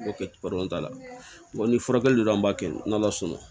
t'a la ni furakɛli don an b'a kɛ n'ala sɔnna